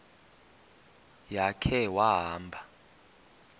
ya khe wahamba